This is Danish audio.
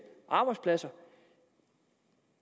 arbejdspladser